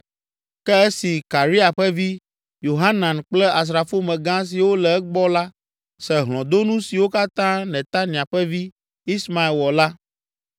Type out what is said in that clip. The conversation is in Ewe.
Ke esi Karea ƒe vi, Yohanan kple asrafomegã siwo le egbɔ la se hlɔ̃donu siwo katã Netania ƒe vi, Ismael wɔ la,